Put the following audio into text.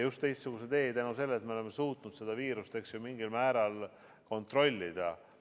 Teistsuguse tee just tänu sellele, et me oleme suutnud viirust mingil määral kontrollida.